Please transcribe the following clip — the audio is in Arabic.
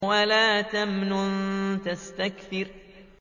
وَلَا تَمْنُن تَسْتَكْثِرُ